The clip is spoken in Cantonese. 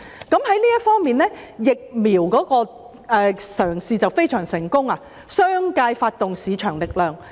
在這方面，鼓勵接種疫苗的嘗試可說非常成功，因商界充分發揮了市場力量。